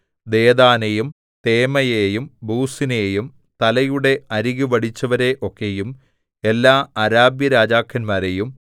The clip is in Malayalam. ദേദാനെയും തേമയെയും ബൂസിനെയും തലയുടെ അരികു വടിച്ചവരെ ഒക്കെയും എല്ലാ അരാബ്യരാജാക്കന്മാരെയും